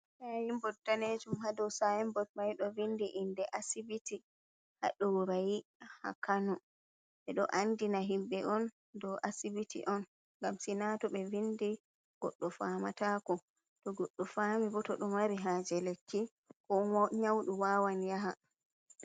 Sainbod danejum. Haa ɗo sainbod mai ɗo vindi inde asibiti haa ɗorayi, haa Kano. Ɓe ɗo andina himɓe on ɗo asibiti on. Ngam sina to ɓe vindi goɗɗo faamatako. To goɗɗo faami bo, to ɗo mari haaje lekki, ko nyauɗo waawan yaha.